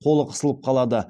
қолы қысылып қалады